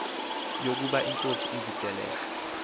yokuba inkosi izekelre